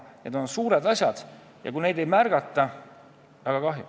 Need on suured asjad ja väga kahju, kui neid ei märgata.